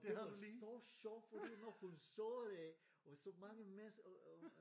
Og det var så sjovt fordi når hun så det og så mange mennesker og øh